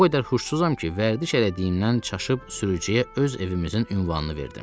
O qədər huşsuzam ki, vərdiş elədiyimdən çaşıb sürücüyə öz evimizin ünvanını verdim.